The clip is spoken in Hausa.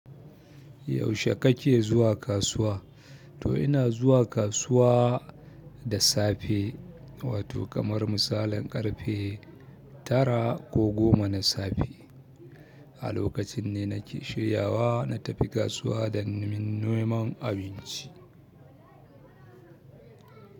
Yaushe kake zuwa kasuwa? To ina zuwa kasuwa da safe, wato kamar misalin ƙarfe tara ko goma na safe. A lokacin ne nake shiryawa ma tapi kasuwa don min neman abinci.